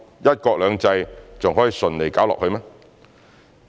'一國兩制'還能順利搞下去嗎？